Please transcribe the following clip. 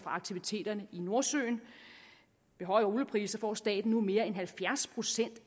aktiviteterne i nordsøen ved høje oliepriser får staten nu mere end halvfjerds procent